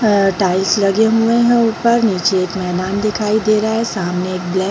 अ tiles लगे हुए है ऊपर नीचे एक मैदान दिखाई दे रहा है सामने एक ब्लैक --